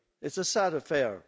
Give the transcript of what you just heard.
It's a sad affair.